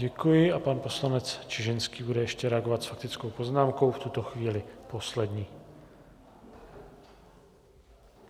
Děkuji a pan poslanec Čižinský bude ještě reagovat s faktickou poznámkou, v tuto chvíli poslední.